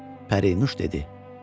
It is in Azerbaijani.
Pərinüş dedi: